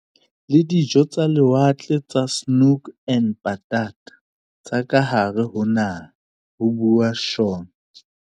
"le dijo tsa lewatle tsa 'Snoek en Patat' tsa kahare ho naha," ho bua Shaw.